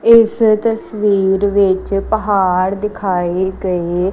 ਇਸ ਤਸਵੀਰ ਵਿੱਚ ਪਹਾੜ ਦਿਖਾਈ ਗਏ--